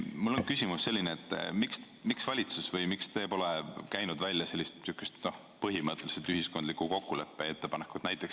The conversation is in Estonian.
Mul on küsimus, miks valitsus pole käinud välja ühiskondliku kokkuleppe ettepanekut?